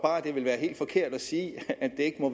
det vil være helt forkert at sige at det ikke må